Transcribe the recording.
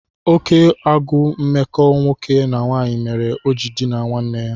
Oké agụụ mmekọ nwoke na nwanyị mere o ji dinaa nwanne ya.